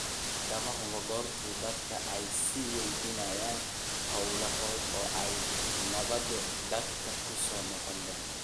Weli lama hubo goorta dadku ay sii wadayaan hawlahooda oo ay nabaddu dadka ku soo noqon doonto.